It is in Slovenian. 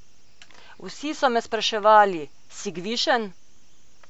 Vsi so me spraševali: 'Si gvišen?